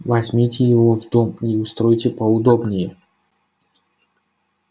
возьмите его в дом и устройте поудобнее